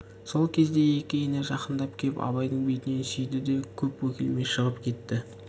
сол кезде екі ене жақындап кеп абайдың бетінен сүйді де көп бөгелмей шығып кетті